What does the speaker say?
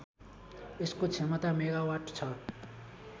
यसको क्षमता मेगावाट छ